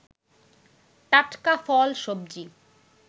টাটকা ফল, সবজি